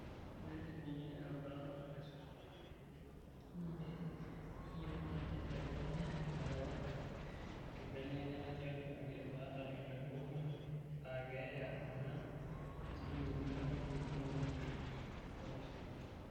"Olbetiri ninye erubata nagol aisul toltukutuk nemekiyieu nenya elekunya ilarewak enkibelekenyata tiatu ake baada ilarin okunii, aa keya enaa injilingini inkalifuni ntomoni oopishana."